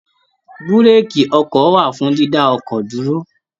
Búrèèkì ọkọ̀ wà fún dídá ọkọ̀ dúró